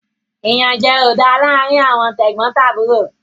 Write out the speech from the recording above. Iyanjẹ o dá láarin Àwọn tegbotaburo